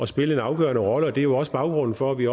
spille en afgørende rolle det er jo også baggrunden for at vi